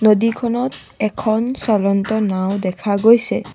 নদীখনত এখন চলন্ত নাও দেখা গৈছে।